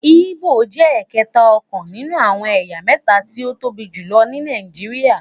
Igbo jé ẹkẹta ọkàn nínú àwọn ẹyà méta tí o tóbi jùlọ ní Nàìjíríà